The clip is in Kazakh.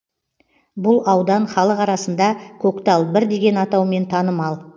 бұл аудан халық арасында көктал бір деген атаумен танымал